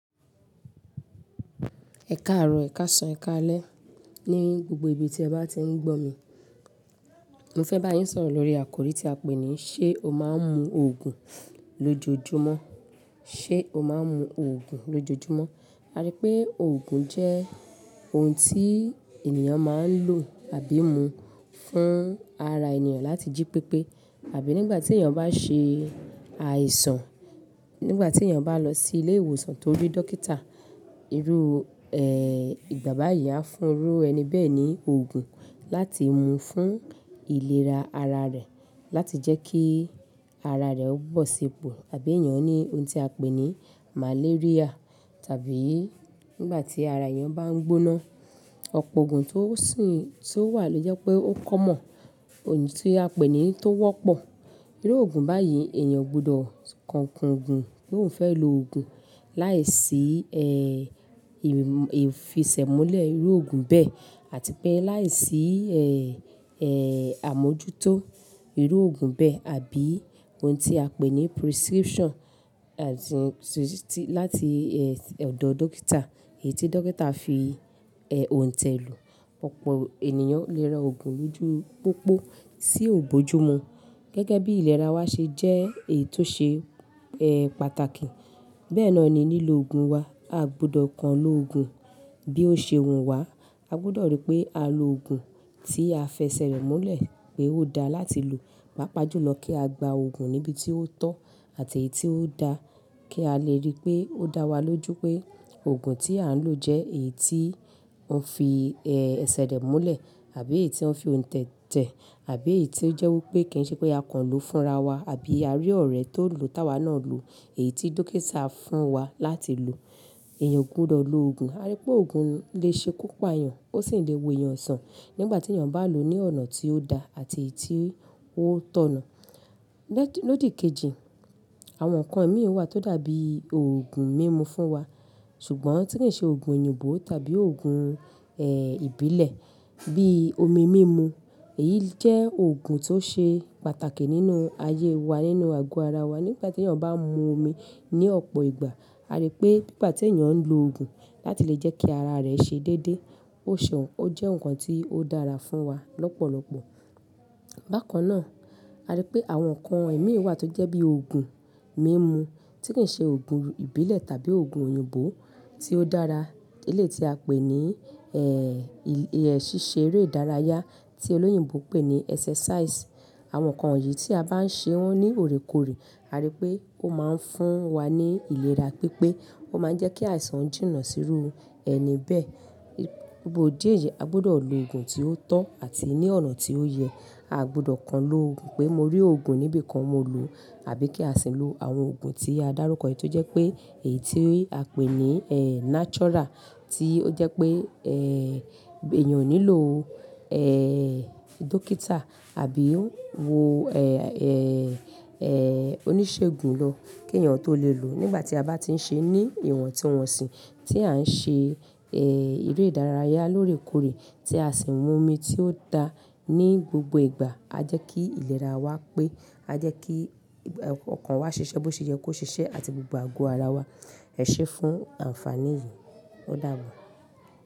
Ẹkaaro, ẹkasan, ẹkale. Ní gbogbo ibi tí ẹ bá ti ń gbọ́ mi. Mo fẹ́ ba yín s'ọ̀rọ̀ lórí àkòrí tí a pè ní, ṣé o máa ń mu òògùn lójoojúmọ́? Ṣe o maa n mu oogun lojoojumọ? A ríi pé òògùn jẹ́ ohun tí ti ènìyàn máa ń lò àbí mu fún ara ènìyàn láti jí pépé àbí nígbàtí èyán bá ṣe àìsàn, nígbàtí èyán bá lọ sí ilé ìwòsan tó rí dókítà, irú, bàbá yìí á fún irú ẹni bẹ́ẹ̀ ní oògùn láti mu fún ìlera ara rẹ̀ láti jẹ́ kí ara rẹ̀ ó bọ̀ sípò àbí èyán ní ohun tí a pè ní maléríà tàbí nígbàtí ara èyán bá ń gbóná. Ọ̀pọ̀ òògùn tó sì ń, tó wà ló jẹ́ pé o common, ohun tí a pè ní tó wọ́pọ̀. Irú òògùn báyìí, ènìyàn ò gbọdọ̀ kàn kùn gùn pó n fẹ́ llo òògùn láìsí e, ìfisẹ̀múlẹ̀ irú òògùn bẹ́ẹ̀ àti pé láìsí àmójútó irú òògùn bẹ́ẹ̀ àbí ohun tí a pè ní prescription láti ẹ̀dọ dókítà, èyí tí dókítà fi òhùntẹ̀lù. Ọ̀pọ̀ ènìyàn le ra òògùn lójú pópó tí bójúmi gẹ́gẹ́ bí ìlera wa ṣe jẹ́ èyí tó ṣe pataki. Bẹ́ẹ̀ náà ni lílo òògùn wa. Aà gbudọ̀ kàn lo òògùn bí ó ṣe wù wá. A gbọ́dọ̀ ríi pé a lo òògùn tí a f'ẹsẹ̀ rẹ̀ múlẹ̀ pé ó da láti lò. Pàápàá jùlọ kí a gba òògùn níbi tí ó tọ́ àti èyí tí ó dáa kí a le ríi pé ó dá wa lójú pé òògùn tí à ń lò jẹ́ èyí ti wọ́n fi ẹsẹ̀ rẹ̀ múlẹ̀ àbi èyí tí wọ́n fi ohùntẹ̀ tẹ̀ àbí èyí tí ó jẹ́ wípé kìí ṣe pé a kàn lo fúnra wa àbí a rí ọ̀rẹ́ tó lòó t'áwa náà lòó èyí tí dókítà fún wa láti lò. Ènìyàn ò gbọdọ̀ lo òògùn. A rí pé òògùn le ṣe ikú pà'yàn, ó sì le wò'yàn sàn nígbà tí èèyàn bá lòó ní ọ̀nà tí ó dáa àti èyí ti ó tọ̀nà. Lódì kejì, àwọn nǹkan mi wà tó dàbi òògùn mímu fún wa, ṣùgbọ́n tí kì í ṣe òògùn òyìnbó tàbí òògùn, ìbílẹ̀ bí i omi mímu. Èyí jẹ́ oògùn tó ṣe pàtàkì nínú ayé wa nínú àgọ́ ara wa. Nígbà tí èèyàn bá ń mu omi ní ọ̀pọ̀ ìgbà, a ríi pé nígbà tí èèyàn ń lo òògùn láti lè jẹ́ kí ara rẹ̀ ṣe déédé, ó sàn. Ó jẹ́ nǹkan tí ó dára fún wa lọ́pọ̀lọpọ̀. Bákan náà, a ri pé àwọn nǹkan imíì wà tó jẹ́ bí i òògùn mímú tí kì í ṣe òògùn ìbílẹ̀ tàbí òògùn òyìnbó tí ó dára eléyiìí tí a pè ní, ṣíṣe eré ìdárayá tí olóyìnbó pè ní exercise. Àwọn nǹkan yìí tí a bá ń ṣe wọ́n ní òrèkorè, a rí pé ó máa ń fún wa ní ìlera pípé. Ó máa ń jẹ́ kí àìsàn jìnà sírú ẹni bẹ́ẹ̀. Fún dí yìí, a gbọ́dọ̀ lo òògùn tí ó tọ́ àti ní ọ̀nà tí ó yẹ. Aà gbọdọ̀ kàn lo oògùn pé mo rí òògùn níbì kan mo lòó, àbí kí a sì lo àwọn òògùn tí a dárúkọ èyí tó jẹ́ pé èyí tí a pè ní natural tí ó jẹ́ pé èèyàn ò nílò dókítà àbí oníṣègùn lọ kí èèyàn tó lè lòó. Nígbà tí a bá ti ń ṣe ní ìwọ̀ntunwọ̀nsìn, tí à ń ṣe eré ìdárayá lóòrèkóòrè tí a sì ń mu omi tí ó dára ní gbogbo ìgbà, á jẹ́ kí ìlera wá pé a jẹ́ kí ọkàn wa ṣiṣẹ́ bó ṣe yẹ kó ṣiṣẹ́ àti gbogbo àgọ́ ara wa ẹṣé fún àǹfàní yìí. Ó dàbọ̀